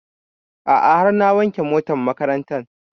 A'a har na wanke motar makarantan